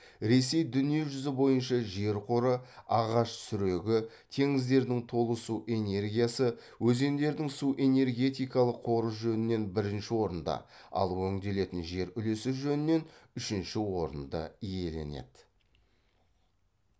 ресей дүниежүзі бойынша жер қоры ағаш сүрегі теңіздердің толысу энергиясы өзендердің су энергетикалық қоры жөнінен бірінші орынды ал өңделетін жер үлесі жөнінен үшінші орынды иеленеді